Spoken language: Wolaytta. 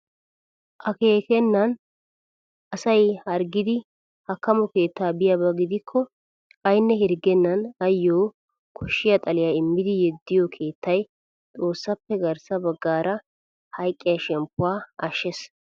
Akeekennan asay harggidi hakkamo keettaa biyaaba gidikko aynne hirgennan ayoo koshshiyaa xaliyaa immidi yeddiyoo keettay xoossappe garssa baggaara hayqqiyaa shemppuwaa ashshees.